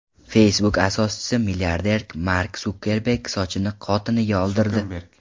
Facebook asoschisi, milliarder Mark Sukerberg sochini xotiniga oldirdi .